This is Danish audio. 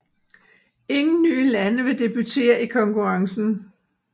Ingen nye lande vil debuttere i konkurrencen